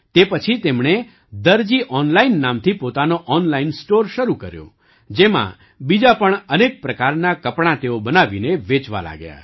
તે પછી તેમણે દરજી ઑનલાઇન નામથી પોતાનો ઑનલાઇન સ્ટૉર શરૂ કર્યો જેમાં બીજાં પણ અનેક પ્રકારનાં કપડાં તેઓ બનાવીને વેચવા લાગ્યા